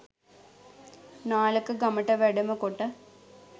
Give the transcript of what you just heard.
නාලක ගමට වැඩම කොට